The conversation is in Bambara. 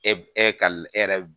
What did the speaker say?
E e ka e yɛrɛ